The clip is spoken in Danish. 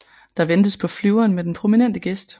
Der ventes på flyveren med den prominente gæst